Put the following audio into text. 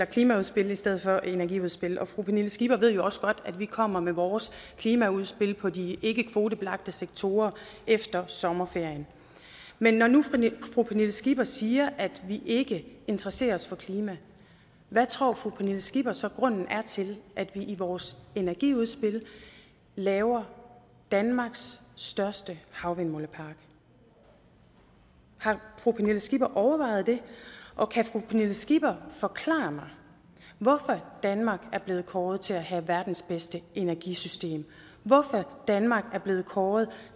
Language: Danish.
klimaudspil i stedet for energiudspil og fru pernille skipper ved jo også godt at vi kommer med vores klimaudspil på de ikkekvotebelagte sektorer efter sommerferien men når nu fru pernille skipper siger at vi ikke interesserer os for klima hvad tror fru pernille skipper så grunden er til at vi i vores energiudspil laver danmarks største havvindmøllepark har fru pernille skipper overvejet det og kan fru pernille skipper forklare mig hvorfor danmark er blevet kåret til at have verdens bedste energisystem hvorfor danmark er blevet kåret